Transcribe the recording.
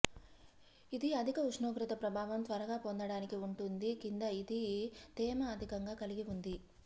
ఇది అధిక ఉష్ణోగ్రత ప్రభావం త్వరగా పొందడానికి ఉంటుంది కింద ఇది తేమ అధికంగా కలిగి ఉంది